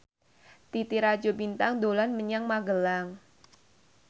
Titi Rajo Bintang dolan menyang Magelang